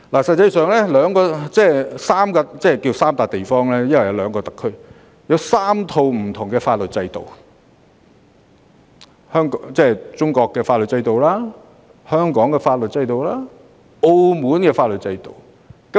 實際上，大灣區包含3個關稅區、兩個特區及3套不同的法律制度：中國內地、香港和澳門的法律制度。